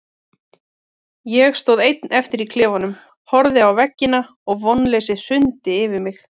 Ég stóð einn eftir í klefanum, horfði á veggina og vonleysið hrundi yfir mig.